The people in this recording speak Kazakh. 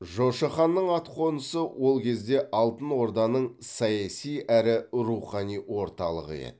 жошы ханның атқонысы ол кезде алтын орданың саяси әрі рухани орталығы еді